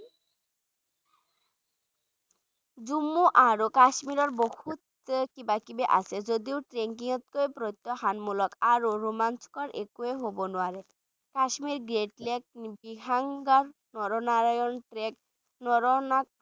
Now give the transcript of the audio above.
জম্মু আৰু কাশ্মীৰত বহুত কিবাকিবি আছে যদিও trekking তকৈ প্ৰত্যাহ্বানমূলক আৰু ৰোমাঞ্চকৰ একোৱে হ'ব নোৱাৰে Kashmir great trek, vishansar naranag trek naranag